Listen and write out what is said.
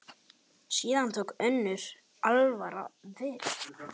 Síðan tók önnur alvara við.